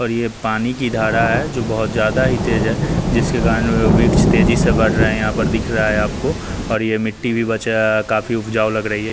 और यह पानी की धारा है जो बहुत ज्यादा ही तेज है जिसके कारण वृक्ष तेजी से बढ़ रहे हैं यहां पर दिख रहा है आपको और ये मिट्टी भी बच रहा है काफ़ी उपजाऊ लग रही है।